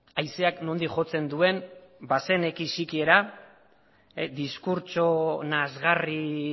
haizea nondik jotzen duen bazeneki sikiera diskurtso nazkagarri